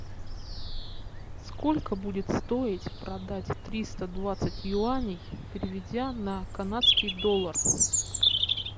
сколько будет стоить продать триста двадцать юаней переведя на канадский доллар